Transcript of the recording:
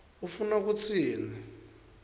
ufuna kutsini